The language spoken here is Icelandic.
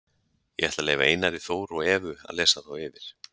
Ég ætla að leyfa Einari Þór og Evu að lesa þá yfir.